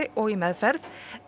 og í meðferð